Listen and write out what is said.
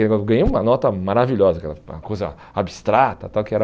Eu ganhei uma nota maravilhosa aquela, uma coisa abstrata tal, que era.